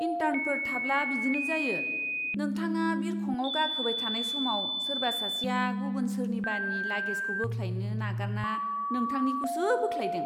इन्टार्नफोर थाब्ला बिदिनो जायो। नोंथाङा बिरखंआव गाखोबाय थानाय समाव सोरबा सासेआ गुबुन सोरनिबानि लागेजखौ बोख्लायनो नागारना नोंथांनिखौसो बोख्लायदों।